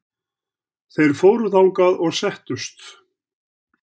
Þeir fóru þangað og settust.